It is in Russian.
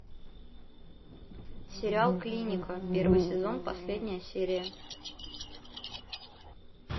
сериал клиника первый сезон последняя серия